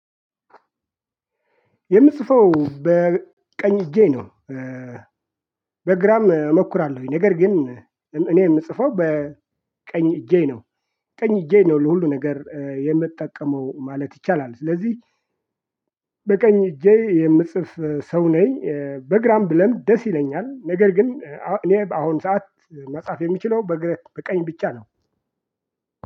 የምጽፈው በቀኝ እጄ ነው። በግራም እሞክራለሁኝ ነገር ግን እኔ የምጽፈው በቀኝ እጄ ነው። ቀኝ እጄ ነው ለሁሉ ነገር የምጠቀመው ማለት ይቻላል ስለዚህ። በቀኝ እጄ የምጽፍ ሰው ነኝ። በግራም ብለምድ ደስ ይለኛል ነገር ግን እኔ በአሁን ሰዓት መጻፍ የምችለው በቀኝ ብቻ ነው።